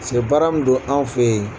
Cɛ baara min do an fɛ yen.